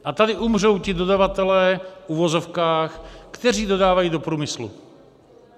A tady umřou ti dodavatelé, v uvozovkách, kteří dodávají do průmyslu.